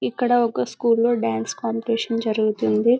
ఇక్కడ ఒక స్కూల్లో డాన్స్ కాంపిటీషన్ జరుగుతుంది